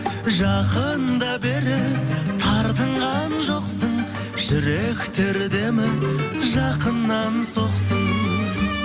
жақында бері тартынған жоқсың жүректер демі жақыннан соқсын